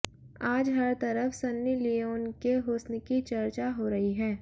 आज हर तरफ सन्नी लियोन के हुस्न की चर्चा हो रही है